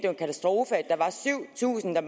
en katastrofe at der var syv tusind der